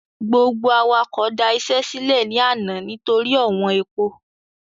Gbogbo awakọ̀ da iṣẹ́ sílẹ́ ní àná nítorí ọ̀wọ́n epo.